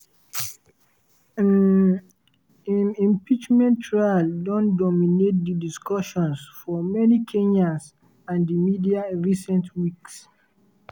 um im impeachment trial don dominate di discussions of many kenyans and di media in recent weeks.